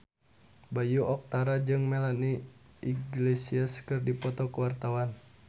Bayu Octara jeung Melanie Iglesias keur dipoto ku wartawan